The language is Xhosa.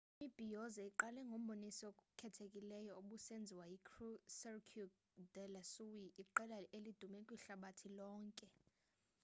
imibhiyozo iqale ngomboniso okhethekileyo obusenziwa yicirque du solei iqela elidume kwihlabathi lonkel